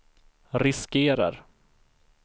riskerar